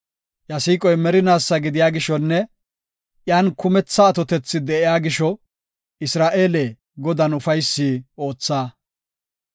Iya siiqoy merinaasa gidiya gishonne iyan kumetha atotethi de7iya gisho Isra7eele, Godan ufaysi ootha;